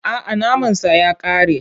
A'a, naman sa ya ƙare.